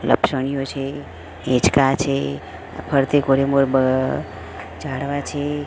લપસણીઓ છે હીંચકા છે ફરતે ઝાડવા છે.